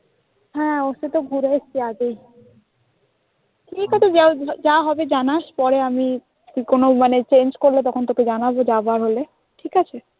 হ্যাঁ ওখানে তো ঘুরে এসেছি আগেই ঠিক আছে যা হবে জানাস পরে আমি কোন মানে change করলে তোকে জানাবো যাবার হলে ঠিক আছে?